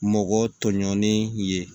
Mɔgɔ tɔɲɔgɔnin ye